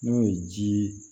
N'o ye ji